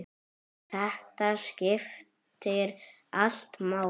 Þetta skiptir allt máli.